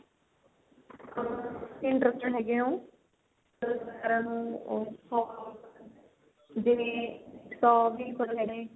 interested ਹੈਗੇ ਓ ਉਦੇ ਵੀ